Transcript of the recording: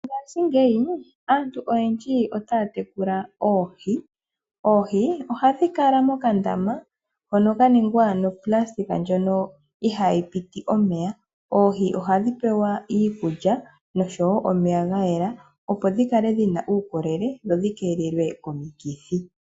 Mongaashingeyi aantu oyendji otaya tekula oohi. Oohi ihadhi kala mokandama hono ka ningwa noplasitika ndjoka ihayi piti omeya. Oohi ohadi pewa iikulya noshowo omeya ga yela opo dhi kale dhi na uukolele dho dhi keelelwe komikithi.